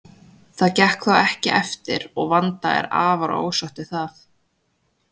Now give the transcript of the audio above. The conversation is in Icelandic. Það gekk þó ekki eftir og Vanda er afar ósátt við það.